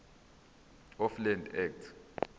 of land act